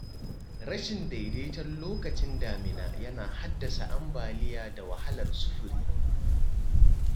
Rashin daidaiton lokacin damina yana haddasa ambaliya da wahalar sufuri.